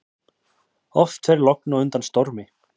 Oft fer logn á undan stormi.